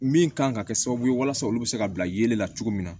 Min kan ka kɛ sababu ye walasa olu bɛ se ka bila yelen la cogo min na